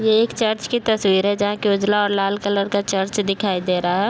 ये एक चर्च की तस्वीर है जहाँ की उजला और लाल कलर का चर्च दिखाई दे रहा है।